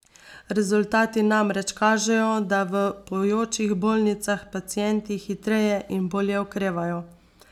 Rezultati namreč kažejo, da v pojočih bolnicah pacienti hitreje in bolje okrevajo.